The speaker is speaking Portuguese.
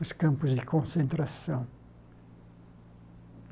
os campos de concentração.